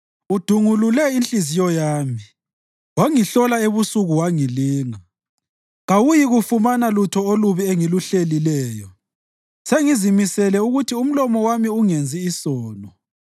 Udungulule inhliziyo yami wangihlola ebusuku wangilinga, kawuyikufumana lutho olubi engiluhlelileyo; sengizimisele ukuthi umlomo wami ungenzi sono.